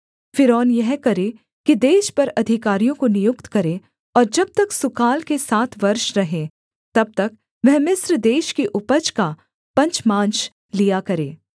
फ़िरौन यह करे कि देश पर अधिकारियों को नियुक्त करे और जब तक सुकाल के सात वर्ष रहें तब तक वह मिस्र देश की उपज का पंचमांश लिया करे